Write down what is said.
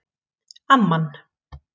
Amman